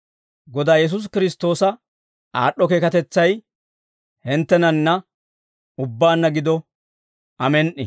Godaa Yesuusi Kiristtoosa aad'd'o keekatetsay hinttenanna ubbaanna gido. Amen"i.